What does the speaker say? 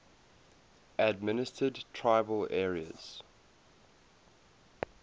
administered tribal areas